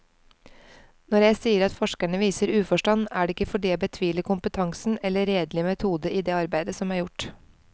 Når jeg sier at forskerne viser uforstand, er det ikke fordi jeg betviler kompetansen eller redelig metode i det arbeid som er gjort.